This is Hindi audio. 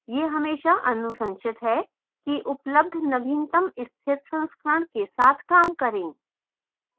यह हमेशा अनुशंसित है कि उपलब्ध नवीनतम स्थिर संस्करण के साथ काम करें